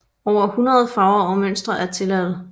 Over hundrede farver og mønstre er tilladte